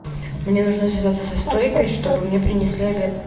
мне нужно связаться со стойкой чтобы мне принесли обед